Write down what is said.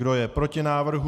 Kdo je proti návrhu?